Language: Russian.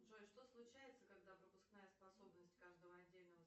джой что случается когда пропускная способность каждого отдельного